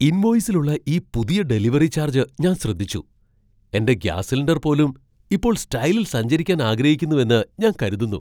ഇൻവോയിസിലുള്ള ഈ പുതിയ delivery charge ഞാൻ ശ്രദ്ധിച്ചു. എന്റെ ഗ്യാസ് സിലിണ്ടർ പോലും ഇപ്പോൾ സ്റ്റൈലിൽ സഞ്ചരിക്കാൻ ആഗ്രഹിക്കുന്നുവെന്ന് ഞാൻ കരുതുന്നു!